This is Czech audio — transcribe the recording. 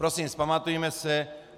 Prosím, vzpamatujme se.